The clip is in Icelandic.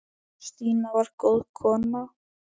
Stína var góð kona.